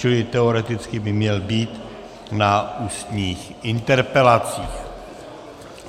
Čili teoreticky by měl být na ústních interpelacích.